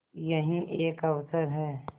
यही एक अवसर है